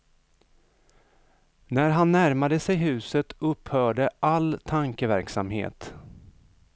När han närmade sig huset upphörde all tankeverksamhet.